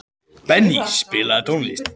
Benný, spilaðu tónlist.